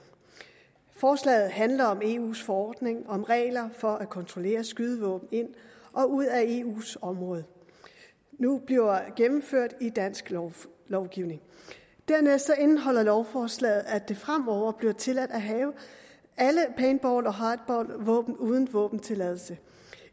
forslaget handler om at eus forordning om regler for at kontrollere skydevåben ind og ud af eus område nu bliver gennemført i dansk lovgivning dernæst indeholder lovforslaget at det fremover bliver tilladt at have alle paintball og hardballvåben uden våbentilladelse